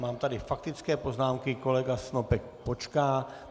Mám tady faktické poznámky, kolega Snopek počká.